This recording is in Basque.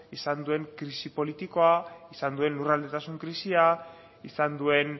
izan duen krisi politikoa izan duen lurraldetasun krisia izan duen